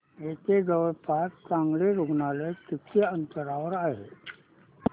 इथे जवळपास चांगलं रुग्णालय किती अंतरावर आहे